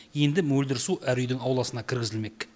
енді мөлдір су әр үйдің ауласына кіргізілмек